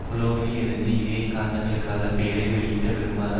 கோலோனில் இருந்து இதே காரணங்களுக்காக பெயரை வெளியிட விரும்பாத